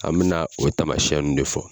An mina o tamasɛn nu de fɔ